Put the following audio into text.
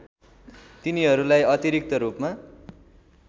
तिनीहरूलाई अतिरिक्त रूपमा